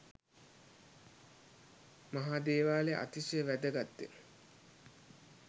මහා දේවාලය අතිශය වැදගත්ය.